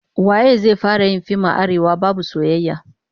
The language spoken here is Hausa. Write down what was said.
Waye zai fara yin fim a Arewa babu soyayya?